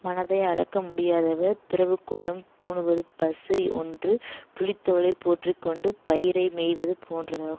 மனத்தை அடக்க முடியாதவர் துறவுக்கோலம் பூணுவது பசி ஒன்று புலித்தோலைப் போற்றி கொண்டு பயிரை மேய்வது போன்றதாகும்